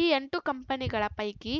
ಈ ಎಂಟು ಕಂಪನಿಗಳ ಪೈಕಿ